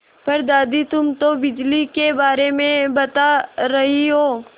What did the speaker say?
पर दादी तुम तो बिजली के बारे में बता रही हो